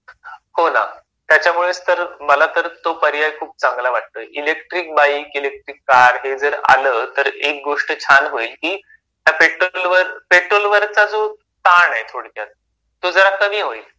हो ना त्याच्यामुळेच तर मला तर तो पर्याय खूप चांगला वाटतोय इलेक्ट्रिक बाईक, इलेक्ट्रिक कार हे जर आलं तर एक गोष्ट छान होईल की पेट्रोल वरचा जो ताण आहे थोडक्यात तो जरा कमी होईल.